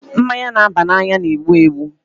Mmanya na-aba n'anya na-egbu egbu.